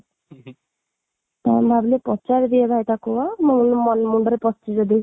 ଭାବିଲି ପଚାରିଦିଏ ଭାଇ ତାକୁ ଅଁ ମୁଣ୍ଡରେ ପଶିଛି ଯଦି